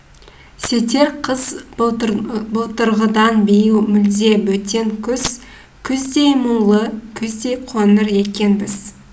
сетер қыз былтырғыдан биыл мүлде бөтен күз күздей мұңлы күздей қоңыр екенбіз